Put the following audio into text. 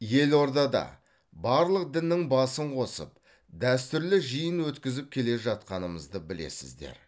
елордада барлық діннің басын қосып дәстүрлі жиын өткізіп келе жатқанымызды білесіздер